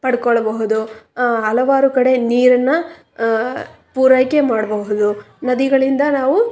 ಪಡಕೊಳ್ಳಬಹುದು ಆ ಹಲವಾರು ಕಡೆ ನೀರನ್ನ ಆ ಪೂರೈಕೆ ಮಾಡಬಹುದು ನದಿಗಳಿಂದ ನಾವು--